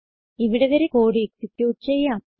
ഇവിടെ വരെ code execute ചെയ്യാം